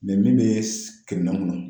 min be kɛ minɛn kɔnɔ.